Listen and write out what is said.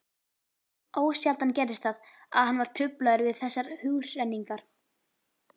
Ósjaldan gerðist það, að hann var truflaður við þessar hugrenningar.